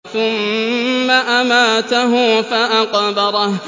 ثُمَّ أَمَاتَهُ فَأَقْبَرَهُ